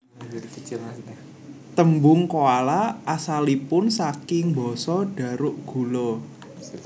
Tembung koala asalipun saking basa Dharuk gula